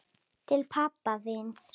Til pabba þíns.